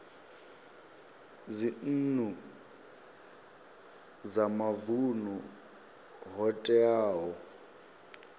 dzinnu dza mavunu ho teaho